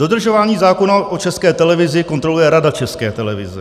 Dodržování zákona o České televizi kontroluje Rada České televize.